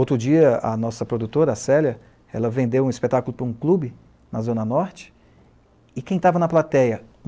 Outro dia, a nossa produtora, a Célia, ela vendeu um espetáculo para um clube, na Zona Norte, e quem estava na plateia?